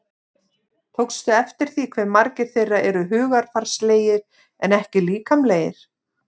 Tókstu eftir því hve margir þeirra eru hugarfarslegir en ekki líkamlegir?